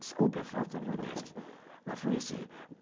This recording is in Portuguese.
Desculpe a falta modéstia